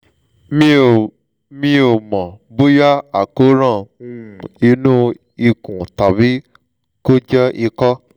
mi ò mi ò mọ̀ bóyá àkóràn um inú ikùn tàbí kó jẹ́ ikọ́